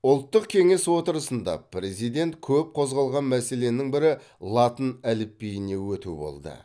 ұлттық кеңес отырысында президент көп көзғалған мәселенің бірі латын әліпбиіне өту болды